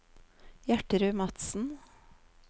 Gjertrud Madsen